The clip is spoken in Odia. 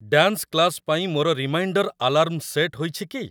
ଡ୍ୟାନ୍ସ୍ କ୍ଲାସ୍ ପାଇଁ ମୋର ରିମାଇଣ୍ଡର୍ ଆଲାର୍ମ୍ ସେଟ୍ ହୋଇଛି କି?